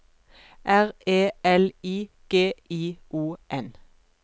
R E L I G I O N